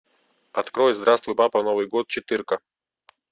открой здравствуй папа новый год четырка